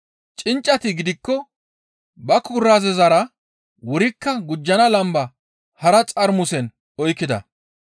Cinccati gidikko ba kuraazezara wurikko gujjana lamba hara xarmusen oykkida.